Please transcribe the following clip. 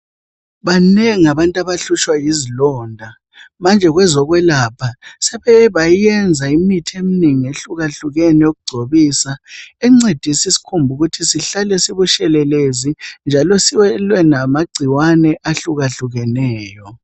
Banengi abantu abahlutshwa yizilonda manje kwezokwelapha sebeke bayenza imithi eminengi ehlukahlukene eyokugcobisa encedisa isikhumba ukuthi sihlale sibutshelelezi njalo silwe lamagcikwane ahlukahlukeneyo.